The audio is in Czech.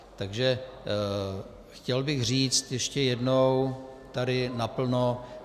Takže chtěl bych říct ještě jednou tady naplno: